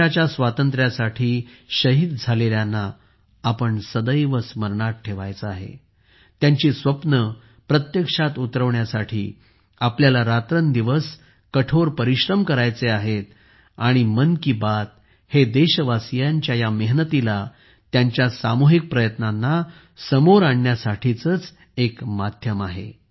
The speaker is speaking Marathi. देशाच्या स्वातंत्र्यासाठी शहीद झालेल्यांना आपण सदैव स्मरणात ठेवायचे आहे त्यांची स्वप्ने प्रत्यक्षात उतरवण्यासाठी आपल्याला रात्रंदिवस कठोर परिश्रम करायचे आहेत आणि मन की बात हे देशवासियांच्या या मेहनतीला त्यांच्या सामूहिक प्रयत्नांना समोर आणण्यासाठीचेच एक माध्यम आहे